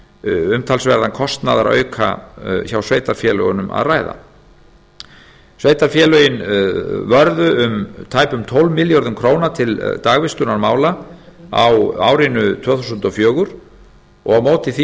umtalsverðan kostnaðarauka hjá sveitarfélögunum að ræða sveitarfélögin vörðu tæpum tólf milljörðum króna til dagvistunarmála á árinu tvö þúsund og fjögur og á móti því